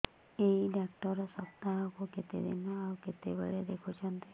ଏଇ ଡ଼ାକ୍ତର ସପ୍ତାହକୁ କେତେଦିନ ଆଉ କେତେବେଳେ ଦେଖୁଛନ୍ତି